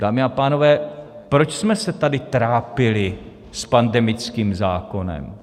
Dámy a pánové, proč jsme se tady trápili s pandemickým zákonem?